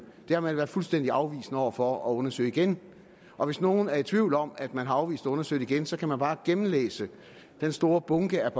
har man været fuldstændig afvisende over for at undersøge igen og hvis nogen er i tvivl om at man har afvist at undersøge det igen kan man bare gennemlæse den store bunke